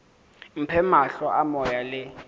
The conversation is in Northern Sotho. mphe mahlo a moya le